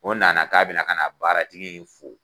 O nana k'a bɛna ka na baaratgi in fo.